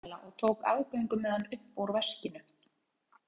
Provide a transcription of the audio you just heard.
Sjálfsagt sagði Kamilla og tók aðgöngumiðann upp úr veskinu.